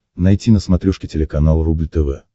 найти на смотрешке телеканал рубль тв